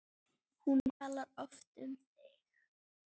Hún talar oft um þig